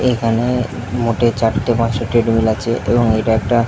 এইখানে এ মোটে চারটে পাঁচটে ট্রেড মিল আছে এবং এটা একটা --